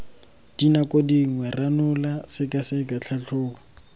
dinako dingwe ranola sekaseka tlhatlhoba